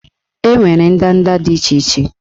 Enwere ndanda dị iche iche